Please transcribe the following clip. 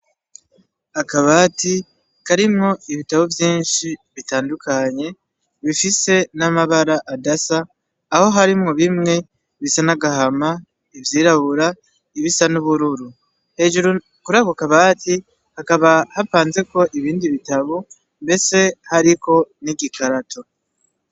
Akabati karimwo ibitabo vyinshi bitandukanye bifise n'amabara adasa aho harimwo bimwe bisa n'agahama ,ivyirabura ,ibisa n'ubururu. Hejuru kuri ako kabati hakaba hapanzeko ibindi bitabo ndetse hariko n'igikarato.